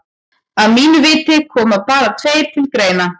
Að mínu viti koma bara tveir til greina.